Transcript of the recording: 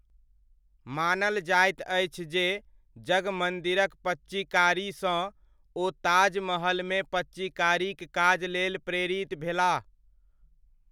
मानल जाइत अछि जे जगमन्दिरक पच्चीकारीसँ ओ ताजमहलमे पच्चीकारीक काज लेल प्रेरित भेलाह।